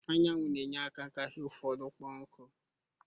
Anyanwụ na-enye aka ime ka ihe ụfọdụ kpo nku